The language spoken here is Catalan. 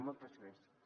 moltes gràcies